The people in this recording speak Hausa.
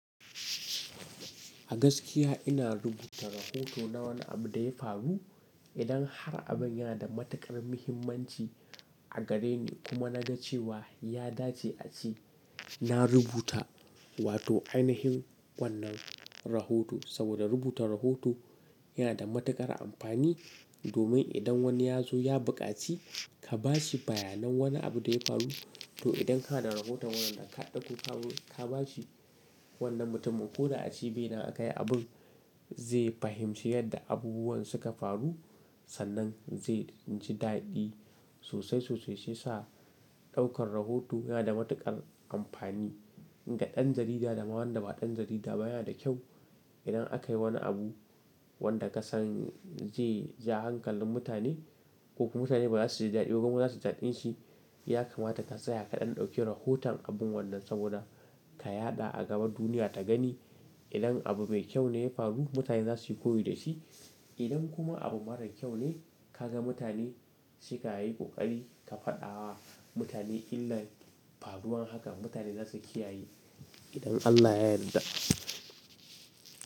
A gaskiya ina rubuta rahoto na wani abu da ya faru idan har abin yana da matuƙar muhimmanci a gareni kuma na ga cewa ya dace a ci. Na rubuta wato ainihin wannan rahoto saboda rubutar rahoto yana da matuƙar amfani domin idan wani ya zo ya buƙaci ka bashi bayanan wane abu da ya faru. To idan ka na da rahoton wannan ka ɗauka ka bashi wannan mutumin ko da a cibina aka yi abin zai fahimci yadda abubuwan suka faru. Sannan zai ci daɗi sosai sosai shiyasa ɗaukar rahoto yana da matuƙar amfani ga ɗan jarida da ma wanda ba ɗan jarida ba. Yana da kyau idan aka yi wani abu wanda ka san zai ja hankalin mutane ko kuma mutane ba za su ji daɗi ko kuma za su ji daɗin shi. Yakamata ka tsaya ka ɗan ɗauke rahoton abun wannan saboda ka yaɗa a gaba duniya ta gani. Idan abu mai kyau ne ya faru mutane za su yi koyi da shi. Idan kuma abu marar kyau ne ka ga mutane sai ka yi ƙoƙari ka faɗa wa mutane illar faruwan haka mutane za su kiyaye idan Allah ya yarda.